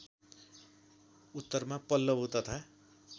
उत्तरमा पल्लवो तथा